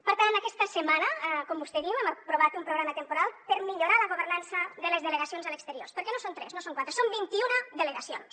per tant aquesta setmana com vostè diu hem aprovat un programa temporal per millorar la governança de les delegacions a l’exterior perquè no són tres no són quatre són vint iuna delegacions